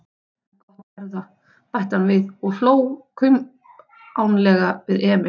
En gott erða, bætti hann við og hló kumpánlega við Emil.